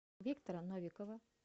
виктора новикова